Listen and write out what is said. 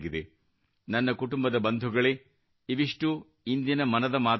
ನನ್ನ ಕುಟುಂಬದ ಬಂಧುಗಳೇ ಇವಿಷ್ಟೂ ಇಂದಿನ ಮನದ ಮಾತುಗಳಾಗಿದ್ದವು